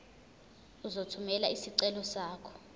uzothumela isicelo sakho